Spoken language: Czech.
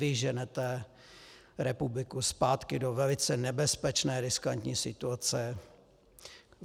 Vy ženete republiku zpátky do velice nebezpečné, riskantní situace.